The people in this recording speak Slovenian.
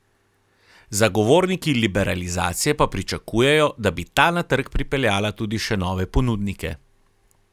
Zagovorniki liberalizacije pa pričakujejo, da bi ta na trg pripeljala tudi še nove ponudnike.